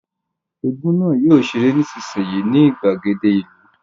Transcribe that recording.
Égún náà yóò ṣeré nísinsìnyí ní ìgbàgede ìlú